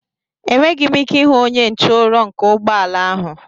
Enweghị m ike ịhụ onye nche ụrọ nke ụgbọ ala ahụ.